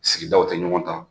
Sigidaw tɛ ɲɔgɔn ta.